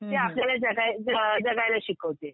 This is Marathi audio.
ते आपल्याला जगायला जगायला शिकवते.